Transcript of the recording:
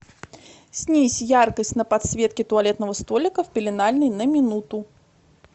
снизь яркость на подсветке туалетного столика в пеленальной на минуту